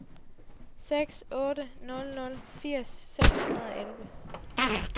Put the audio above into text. seks otte nul nul firs seks hundrede og elleve